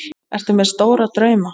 Ertu með stóra drauma?